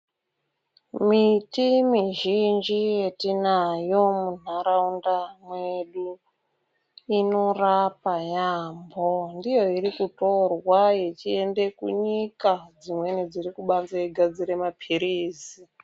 Miti mizhinji yetinayo munharaunda mwedu inorapa yaambo ndiyo irikutorwa yechienda kunyika dzimweni dzirikubanze yeigadzire mapirizi.